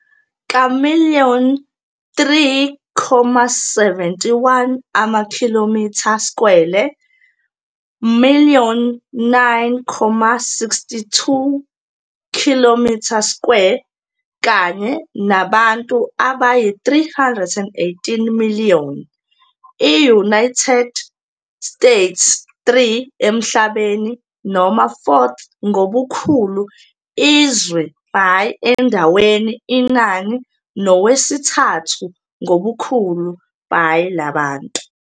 Ka million 3,71 amakhilomitha-skwele, million 9,62 km2, kanye nabantu abayi 318 million abantu, i-United States 3 emhlabeni noma 4th ngobukhulu izwe by endaweni inani nowesithathu ngobukhulu by labantu.